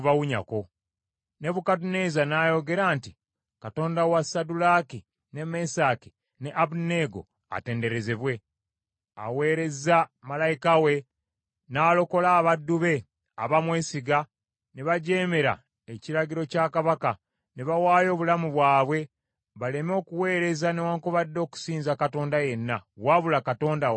Nebukadduneeza n’ayogera nti, “Katonda wa Saddulaaki, ne Mesaki ne Abeduneego atenderezebwe, aweerezza malayika we n’alokola abaddu be, abaamwesize, ne bajeemera ekiragiro kya kabaka, ne bawaayo obulamu bwabwe baleme okuweereza newaakubadde okusinza katonda yenna wabula Katonda waabwe bo.